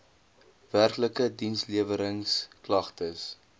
werklike diensleweringsk lagtes